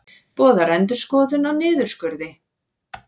Boðar endurskoðun á niðurskurði